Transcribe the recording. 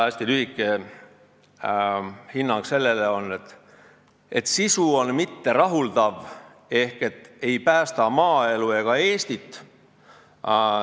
Hästi lühike hinnang sellele on, et sisu on mitterahuldav, ehk see ei päästa maaelu ega Eestit.